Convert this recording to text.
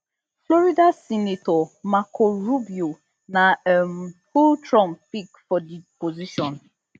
florida senator marco rubio na um who trump pick for di position